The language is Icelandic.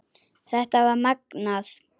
Þetta var magnað.